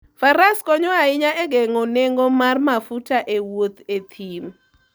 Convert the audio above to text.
Faras konyo ahinya e geng'o nengo mar mafuta e wuoth e thim.